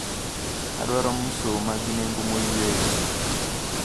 Adwaro msuma gi nengo moyweyo.